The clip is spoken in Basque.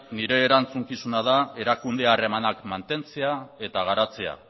nire erantzukizuna da erakunde harremanak mantentzea eta garatzea